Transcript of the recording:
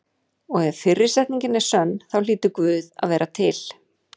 Og ef fyrri setningin er sönn þá hlýtur Guð að vera til.